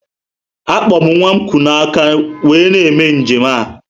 Akpo m nwa kuu na aka wee na eme njem a